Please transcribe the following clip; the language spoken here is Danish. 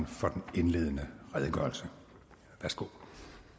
for den indledende redegørelse værsgo